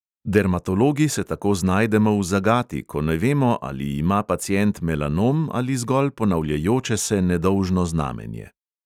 Dermatologi se tako znajdemo v zagati, ko ne vemo, ali ima pacient melanom ali zgolj ponavljajoče se nedolžno znamenje.